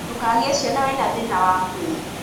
Ndũkagĩe ciana ũrĩ na thĩna wa mwĩrĩ